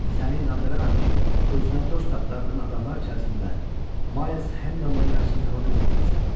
Səni inandıraram ki, özünə dost axtardığın adamlar içərisində Mayls Hendondandan yaxşısını tapa bilməyəcəksən.